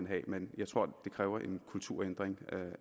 have men jeg tror at det kræver en kulturændring og